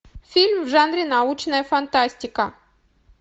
фильм в жанре научная фантастика